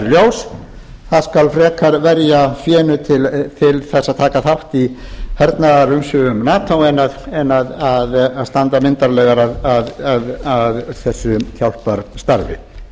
ljós það skal frekar verja fénu til þess að taka þátt í hernaðarumsvifum nato en að standa myndarlegar að þessu hjálparstarfi vinstri hreyfingin grænt framboð